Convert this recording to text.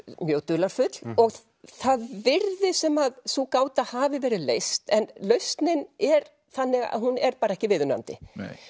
mjög dularfull og það virðist sem sú gáta hafi verið leyst en lausnin er þannig að hún er bara ekki viðunandi